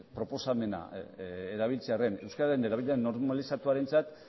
proposamena erabiltzearren euskararen erabilera normalizatuarentzat